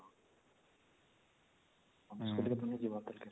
ଅନ୍ୟ school ଥେ କିଏ ନାଇଁ ଯିବାର